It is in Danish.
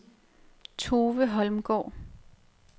Tove Holmgaard